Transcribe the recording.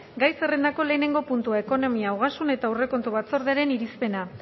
gai zerrendako lehenengo puntua ekonomia ogasun eta aurrekontu batzordearen irizpena